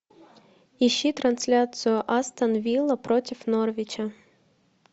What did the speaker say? ищи трансляцию астон вилла против норвича